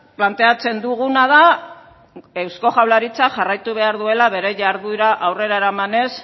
planteatzen duguna da eusko jaurlaritzak jarraitu behar duela bere jarduera aurrera eramanez